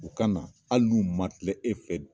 O kana na, hali n'u ma tile e fɛ